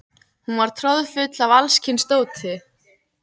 Hún var troðfull af alls kyns dóti.